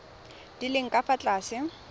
di leng ka fa tlase